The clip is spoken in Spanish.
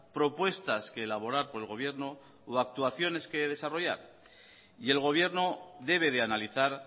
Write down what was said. propuestas que elaborar por el gobierno o actuaciones que desarrollar y el gobierno debe de analizar